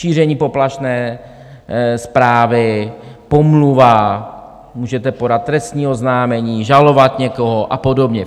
Šíření poplašné zprávy, pomluva, můžete podat trestní oznámení, žalovat někoho a podobně.